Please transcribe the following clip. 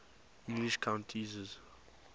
english countesses